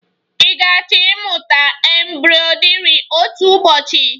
Ị ga-achọ ịmụta embroidri otu ụbọchị?